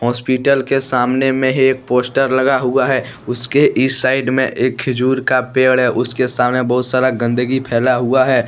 Hospital के सामने में ही एक पोस्टर लगा हुआ है उसके इस साइड में एक खिजुर का पेड़ है उसके सामने बहुत सारा गंदगी फैला हुआ है।